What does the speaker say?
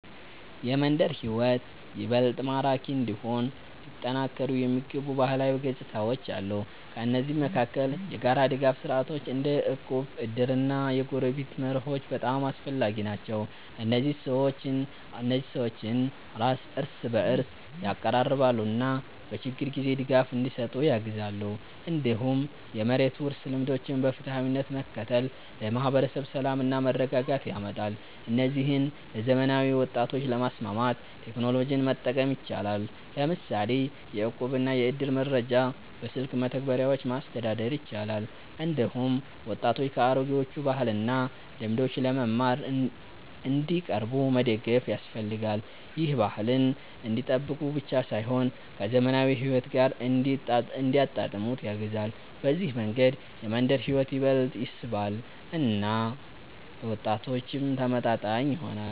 የመንደር ሕይወት ይበልጥ ማራኪ እንዲሆን ሊጠናከሩ የሚገቡ ባህላዊ ገጽታዎች አሉ። ከእነዚህ መካከል የጋራ ድጋፍ ስርዓቶች እንደ እቁብ፣ እድር እና የጎረቤትነት መርሆች በጣም አስፈላጊ ናቸው። እነዚህ ሰዎችን እርስ በእርስ ያቀራርባሉ እና በችግር ጊዜ ድጋፍ እንዲሰጡ ያግዛሉ። እንዲሁም የመሬት ውርስ ልምዶችን በፍትሃዊነት መከተል ለማህበረሰብ ሰላምና መረጋጋት ያመጣል። እነዚህን ለዘመናዊ ወጣቶች ለማስማማት ቴክኖሎጂን መጠቀም ይቻላል፤ ለምሳሌ የእቁብና የእድር መረጃ በስልክ መተግበሪያዎች ማስተዳደር ይቻላል። እንዲሁም ወጣቶች ከአሮጌዎቹ ባህልና ልምዶች ለመማር እንዲቀርቡ መደገፍ ያስፈልጋል። ይህ ባህልን እንዲጠብቁ ብቻ ሳይሆን ከዘመናዊ ሕይወት ጋር እንዲያጣጣሙት ያግዛል። በዚህ መንገድ የመንደር ሕይወት ይበልጥ ይስባል እና ለወጣቶችም ተመጣጣኝ ይሆናል።